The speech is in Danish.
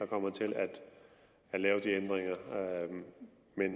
kommer til at lave de ændringer